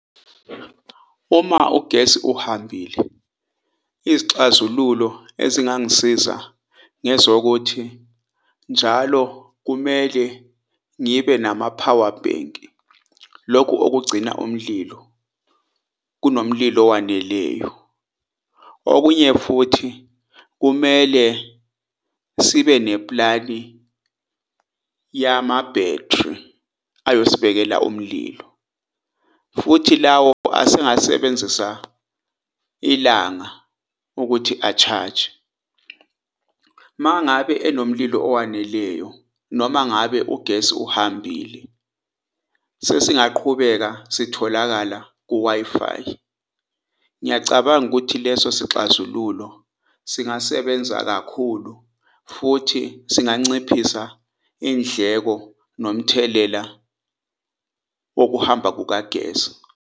Uma ugesi uhambile izixazululo ezingangisiza ngezokuthi njalo kumele ngibe nama-powerbank. Lokhu okugcina umlilo kunomlilo owaneleyo, okunye futhi kumele sibe neplani yama-battery ayosibekela umlilo. Futhi lawo asengasebenzisa ilanga ukuthi a-charge. Uma ngabe enomlilo owaneleyo noma ngabe ugesi uhambile, sesingaqhubeka sitholakala ku-Wi-Fi. Ngiyacabanga ukuthi leso isixazululo singasebenza kakhulu futhi singanciphisa indleko nomthelela wokuhamba kukagesi.